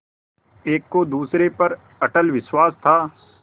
एक को दूसरे पर अटल विश्वास था